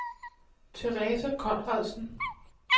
Theresa Konradsen